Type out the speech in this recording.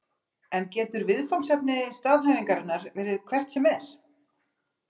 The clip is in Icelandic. En getur viðfangsefni staðhæfingarinnar verið hvert sem er?